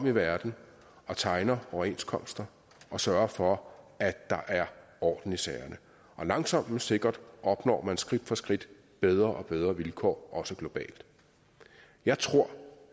i verden og tegner overenskomster og sørger for at der er orden i sagerne og langsomt men sikkert opnår man skridt for skridt bedre og bedre vilkår også globalt jeg tror